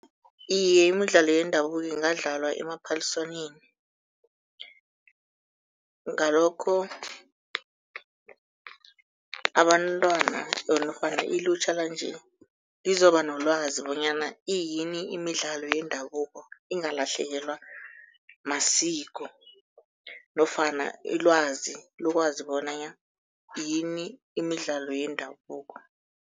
Iye, imidlalo yendabuko ingadlalwa emaphaliswaneni. Ngalokho abantwana or nofana ilutjha lanje lozoba nolwazi bonyana iyini imidlalo yendabuko, ingalahlekelwa masiko nofana ilwazi lokwazi bona yini imidlalo yendabuko.